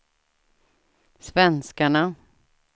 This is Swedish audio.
svenskarna